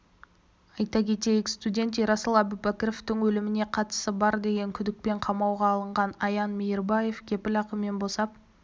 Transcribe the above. айта кетейік студент ерасыл әубәкіровтің өліміне қатысы бар деген күдікпен қамауға алынған аян мейірбаев кепіл ақымен босап